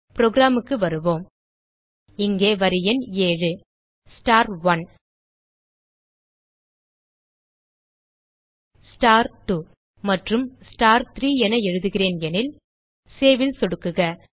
programக்கு வருவோம் இங்கே வரி எண் 7 star1 star2 மற்றும் star3 என எழுதுகிறேன் எனில் Saveல் சொடுக்குக